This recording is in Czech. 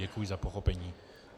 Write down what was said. Děkuji za pochopení.